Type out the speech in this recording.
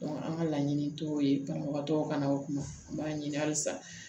an ka laɲini t'o ye banabagatɔw ka na o kuma an b'a ɲini halisa